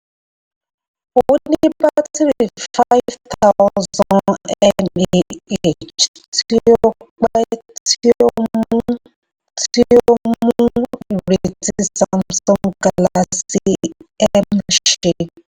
ó ní bátìrì five thousand mah tí ó pẹ̀ tí ó mú ó mú ìrètí samsung galaxy m ṣẹ.